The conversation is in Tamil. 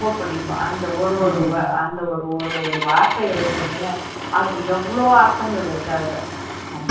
புடிக்கும் அந்த ஒரு ஒரு வார்த்தை இருக்குதுல அதுல எவ்வளவோ அர்த்தங்கள் இருக்கு அதுல